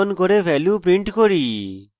value print করি